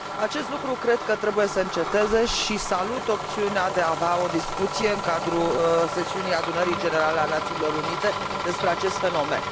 Acest lucru cred că trebuie să înceteze și salut opțiunea de a avea o discuție în cadrul sesiunii Adunării Generale a Națiunilor Unite despre acest fenomen.